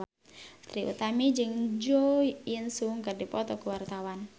Trie Utami jeung Jo In Sung keur dipoto ku wartawan